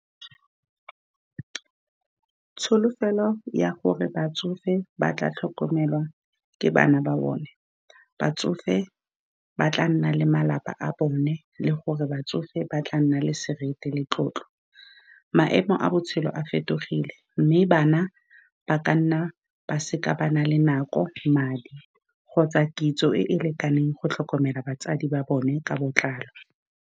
Tsholofelo ya gore batsofe ba tla tlhokomelwa ke bana ba bone, batsofe ba tla nna le malapa a bone, le gore batsofe ba tla nna le seriti le tlotlo. Maemo a botshelo a fetogile, mme bana ba ka nna ba se ka ba nna le nako, madi, kgotsa kitso e e lekaneng go tlhokomela batsadi ba bone ka botlalo.